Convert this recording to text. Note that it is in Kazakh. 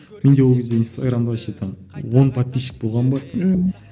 менде ол кезде инстаграмда вообще там он подписчик болған ба мхм